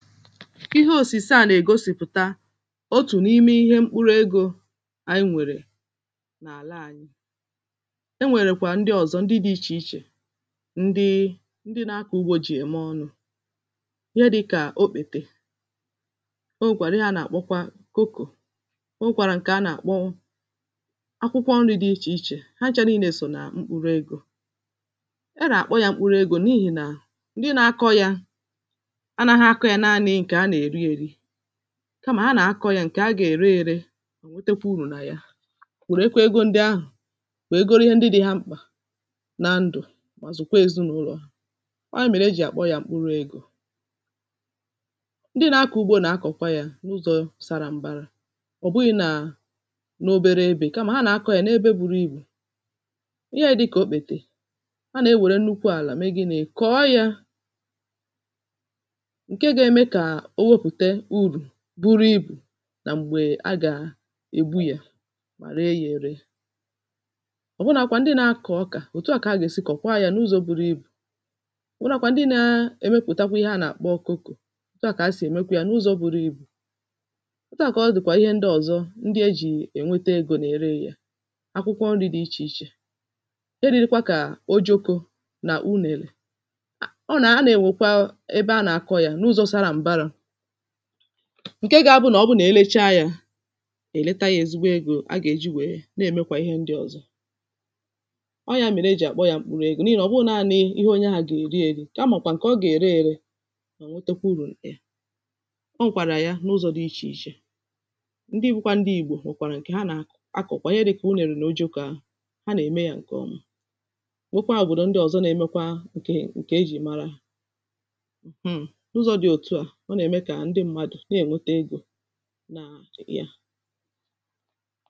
Ihe osise à nà-ègosìpụ̀ta otù n’ime ihe mkpụrụ egȯ, ànyị nwèrè n’àla ànyị. E nwèrè kwà ndị ọ̀zọ ndị dị̇ ichè ichè ndị ndị nȧ-akọ̀ ugbȯ jì ème ọnụ̇. Ihe dị̇kà òkpètè. O nwèkwàrà ihe a nà-àkpọkwa koko. O nwèkwàrà ǹkè a nà-àkpọ akwụkwọ nri̇ dị ichè ichè. Ha nchȧ nii̇nė sò nà mkpụrụ egȯ. A nà-àkpọ yȧ mkpụrụ egȯ n’ihì nà ndị na-akọ yȧ, anaghi akọ yȧ nani nkè a na eri-eri, kamà ha nà-akọ̇ ya ǹkè ha gà-ère ėrė, wetakwu urù nà ya, wèrè ekwa egȯ ndị ahụ̀ wèe goro ihe ndị dị̇ ha mkpà na ndụ̀ mà zụ̀kwa èzinàụlọ̀. ọ̀ ya mèrè ejì àkpọ ya mkpụrụ egȯ. Ndị nà-akọ̀ ugbȯ nà-akọ̀kwa ya n’ụzọ̇ sara m̀bara. ọ̀ bụghị̇ nà n’obere ebè, kamà ha nà-akọ̇ ya n’ebe buru ibù. Ihe dịkà òkpètè, a nà-ewère nnukwu àlà, mee gị nị̇? kọọ ya. Nke gà-ème ka o wepute uru bụrụ ibù nà m̀gbè a gà-ègbu ya, mà ree ya ėree. ọ̀bụnȧkwà ndị nȧ-akọ̀ ọkà, òtù a kà a gà-èsi kọ̀kwaa ya n’ụzọ̇ buru ibù, ọ̀bụnȧkwà ndị nȧ-èmepùtakwa ihe a nà-àkpọ kokȯ, ọ̀tụ ahụ̀ kà a sì èmekwe ya n’ụzọ̇ buru ibù, ọtụ ahụ̀ kà ọ dị̀kwà ihe ndị ọ̀zọ ndị e jì ènwete egȯ nà-ère ya. Akwụkwọ nri̇ dị ichè ichè, e ririkwa kà o jokȯ nà unèrè, ọ nà a nà-ènwèkwa ebe a nà-àkọ ya n’ụzọ sara m̀bará, ǹke gȧ-abụ nà ọ bụnà èlecha yȧ èleta yȧ ezigbo egȯ a gà-èji wèe na-èmekwà ihe ndị̇ ọ̀zọ. ọ yȧ mèrè e jì àkpọ yȧ m̀kpụrụ egȯ n’ihì nà ọ bụrụ nani ihe onye ahụ̀ gà-èri èri ka màkwà ǹkè ọ gà-ère erė mà nwetùkwò urù na ya. ọ nwèkwàrà ya n’ụzọ̇ dị ichè ichè, ndị bukwȧ ndị ìgbò nwekwàrà ǹkè ha nà-akọ̀ akọ̀kwà, ihe dị kà un èrè nà o juoko ahụ, ha nà-ème yȧ ǹkè ọma. Nwekwa òbòdò ndị ọ̀zọ na-emekwa ǹkè ǹkè ejì mara ha. Mm n'uzo di out a ọ na-eme ka ndị mmadụ na-ènweta egȯ na ya.